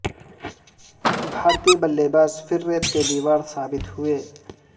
بھارتی بلے باز پھر ریت کی دیوار ثابت ہوئے